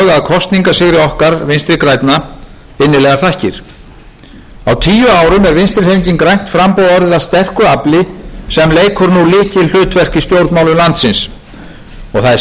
að kosningasigri okkar vinstri grænna innilegar þakkir á tíu árum er vinstri hreyfingin grænt framboð orðið að sterku afli sem leikur nú lykilhlutverk í stjórnmálum landsins og það er